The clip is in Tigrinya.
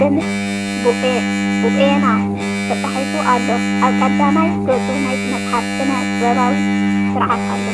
“ደምሰ ቡኤና” ተጻሒፉ ኣሎ። ኣብ ቀዳማይ ገጽ ናይቲ መጽሓፍ ስነ-ጥበባዊ ስርሓት ኣሎ።